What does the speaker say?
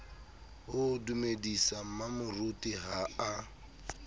ho dumedisa mmamoruti ha a